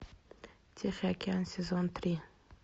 тихий океан сезон три